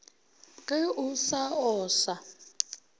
ge o sa o sa